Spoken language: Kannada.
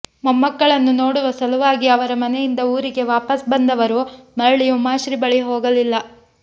ಮೊಮ್ಮಕ್ಕಳನ್ನು ನೋಡುವ ಸಲುವಾಗಿ ಅವರ ಮನೆಯಿಂದ ಊರಿಗೆ ವಾಪಸ್ ಬಂದವರು ಮರಳಿ ಉಮಾಶ್ರೀ ಬಳಿ ಹೋಗಲಿಲ್ಲ